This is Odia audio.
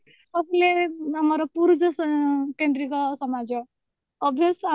ଆମର ପୁରୁଷ କେନ୍ଦ୍ରିକ ସମାଜ obvious